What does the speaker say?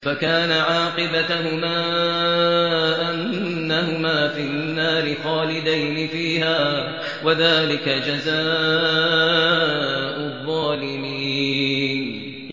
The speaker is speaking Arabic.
فَكَانَ عَاقِبَتَهُمَا أَنَّهُمَا فِي النَّارِ خَالِدَيْنِ فِيهَا ۚ وَذَٰلِكَ جَزَاءُ الظَّالِمِينَ